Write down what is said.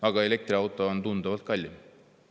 Aga elektriauto on tunduvalt kallim.